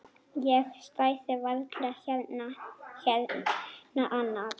Ég stæði varla hérna annars.